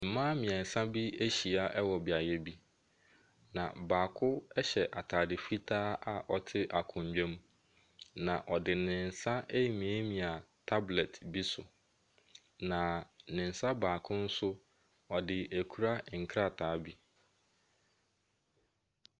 Mmaa mmeɛnsa bi ahyia wɔ beaeɛ bi, na baako hyɛ atade fitaa a ɔte akonnwa mu, na ɔde ne nsa remiamia tablet bi so, na ne nsa baako nso, ɔde akura nkrataa bi.